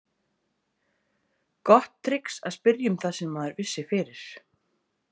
Gott trix að spyrja um það sem maður vissi fyrir.